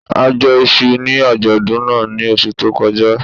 A jẹ iṣu ní àjọ̀dún náà ní oṣù tó kọjá